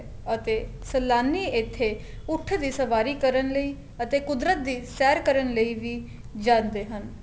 ਅਤੇ ਸਲਾਨੀ ਇੱਥੇ ਉਠ ਦੀ ਸਵਾਰੀ ਕਰਨ ਲਈ ਅਤੇ ਕੁਦਰਤ ਦੀ ਸੈਰ ਕਰਨ ਲਈ ਵੀ ਜਾਂਦੇ ਹਨ